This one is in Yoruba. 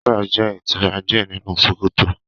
Sandra jẹ itura diẹ ninu sokoto.